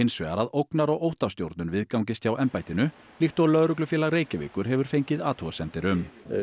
hins vegar að ógnar og óttastjórnun viðgangist hjá embættinu líkt og Lögreglufélag Reykjavíkur hefur fengið athugasemdir um